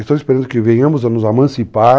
Estou esperando que venhamos a nos emancipar